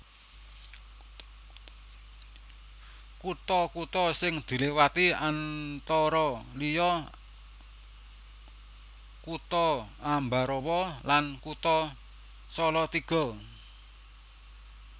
Kutha kutha sing diliwati antara liya Kutha Ambarawa lan Kutha Salatiga